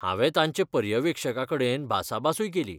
हांवें तांचे पर्यवेक्षकाकडेन भासाभासूय केली.